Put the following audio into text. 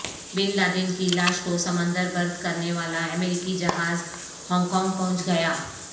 بن Laden کی لاش کو سمندر برد کرنے والا امریکی جہاز ہانگ کانگ پہنچ گیا